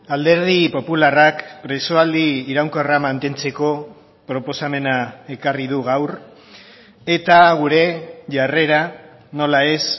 alderdi popularrak presoaldi iraunkorra mantentzeko proposamena ekarri du gaur eta gure jarrera nola ez